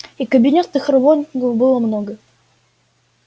и кабинетных работников было много